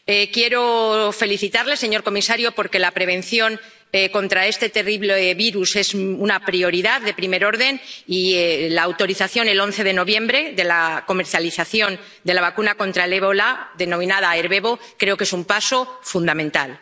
Quiero felicitarle, señor comisario, porque la prevención contra este terrible virus es una prioridad de primer orden y la autorización el 11 de noviembre de la comercialización de la vacuna contra el ébola —denominada Ervebo— creo que es un paso fundamental.